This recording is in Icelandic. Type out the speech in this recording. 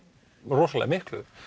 rosalega miklu